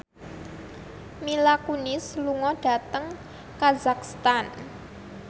Mila Kunis lunga dhateng kazakhstan